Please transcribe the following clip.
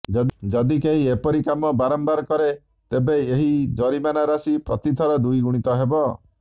ଯଦି କେହି ଏପରି କାମ ବାରମ୍ବାର କରେ ତେବେ ଏହି ଜରିମାନା ରାଶି ପ୍ରତିଥର ଦ୍ୱିଗୁଣିତ ହେବ